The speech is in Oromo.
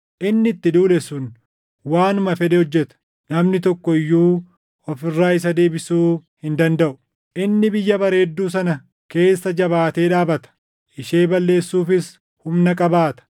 Inni itti duule sun waanuma fedhe hojjeta; namni tokko iyyuu of irraa isa deebisuu hin dandaʼu. Inni Biyya Bareedduu sana keessa jabaatee dhaabata; ishee balleessuufis humna qabaata.